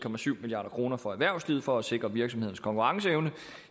milliard kroner for erhvervslivet for at sikre virksomhedernes konkurrenceevne